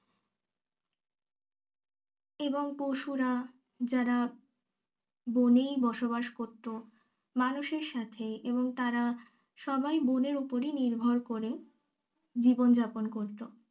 এবং পশুরা যারা বনেই বসবাস করতো মানুষের সাথে এবং তারা সবাই বনের ওপর নির্ভর করে জীবন যাপন করত